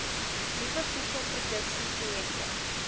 nuwe voedselproduksie projekte